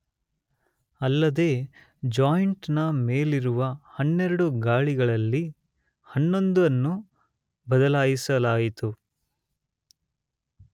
ಅಲ್ಲದೇ ಜಾಯಿಂಟ್ ನ ಮೇಲಿರುವ 12 ಗಾಲಿಗಳಲ್ಲಿ 11 ಅನ್ನು ಬದಲಾಯಿಸಲಾಯಿತು.